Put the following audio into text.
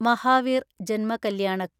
മഹാവീർ ജന്മ കല്യാണക്